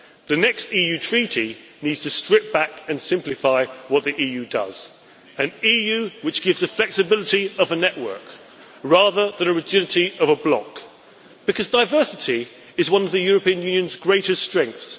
The next EU Treaty needs to strip back and simplify what the EU does an EU which gives the flexibility of a network, rather than rigidity of a bloc, because diversity is one of the European Union's greatest strengths.